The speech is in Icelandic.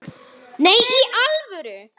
Nei, í alvöru